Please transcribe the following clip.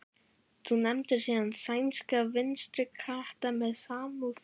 Þú nefndir áðan sænska vinstrikrata með samúð.